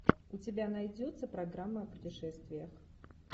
у тебя найдется программа о путешествиях